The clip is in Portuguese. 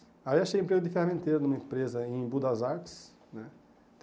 Aí achei emprego de ferramenteiro numa empresa em Budazartes, né?